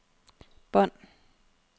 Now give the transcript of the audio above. bånd